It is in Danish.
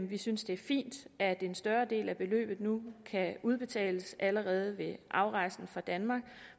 vi synes det er fint at en større del af beløbet nu kan udbetales allerede ved afrejsen fra danmark og